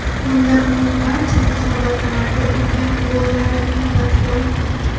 Bunda uning barcha musobaqalarda urgan gollari inobatga olingan.